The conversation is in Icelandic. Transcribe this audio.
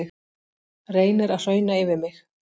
Reynir að hrauna yfir mig